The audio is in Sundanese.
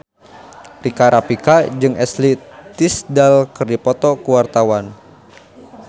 Rika Rafika jeung Ashley Tisdale keur dipoto ku wartawan